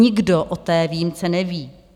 Nikdo o té výjimce neví.